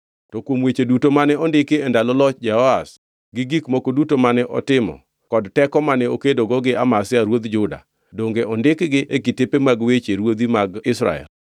To kuom weche duto mane ondiki e ndalo loch Jehoash; gi gik moko duto mane otimo, kod teko mane okedogo gi Amazia ruodh Juda, donge ondikgi e kitepe mag weche ruodhi mag Israel?